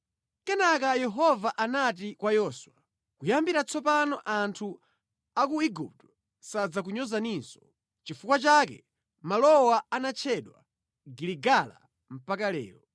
Kenaka Yehova anati kwa Yoswa, “Kuyambira tsopano anthu a ku Igupto sadzakunyozaninso.” Nʼchifukwa chake malowa anatchedwa Giligala mpaka lero.